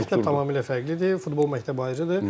Məktəb tamamilə fərqlidir, futbol məktəbi ayrıdır.